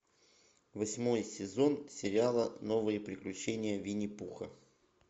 восьмой сезон сериала новые приключения винни пуха